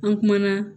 An kumana